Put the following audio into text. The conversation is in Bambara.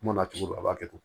Kuma na cogo a b'a kɛ ten